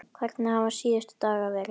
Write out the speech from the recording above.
Hvernig hafa síðustu dagar verið?